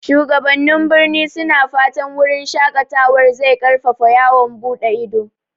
Shugabannin birni suna fatan wurin shaƙatawar zai ƙarfafa yawon buɗe ido.